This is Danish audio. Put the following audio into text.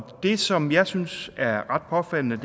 det som jeg synes er ret påfaldende